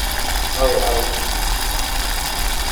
Aaway caruurtii?